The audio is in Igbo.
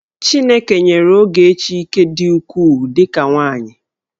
Chineke nyere Ogechi ike dị ukwuu dị ka nwaanyị.